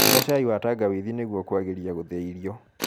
Nyua cai wa tangawithi nĩguo kuagirĩa guthia irio